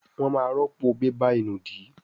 wón má rọpo bébà ìnùdí